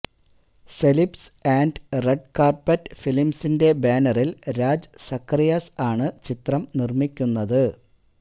celebs and Red Carpet ഫിലിംസിന്റെ ബാനറില് രാജ് സഖറിയാസ് ആണ് ചിത്രം നിർമിക്കുന്നത്